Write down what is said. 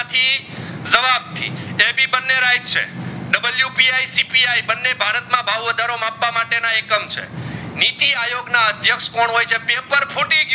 ને right છે WPICPI બંને ભારત ના ભાવ વધારો માપવા માટે ના એકમ છે નીતિઆયોગ ના અદ્ક્ષ્યક્ષ કોણ હોય છે પેપર ફૂટી ગયું